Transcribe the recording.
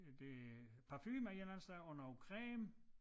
Øh det parfume af en eller anden slags og noget creme